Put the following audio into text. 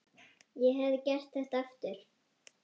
Ég hefði gert þetta aftur.